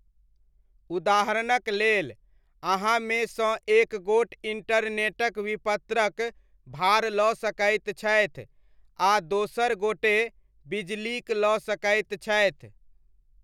उदाहरणक लेल अहाँमे सँ एकगोट इण्टरनेटक विपत्रक भार लऽ सकैत छथि आ दोसर गोटे बिजलीक लऽ सकैत छथि।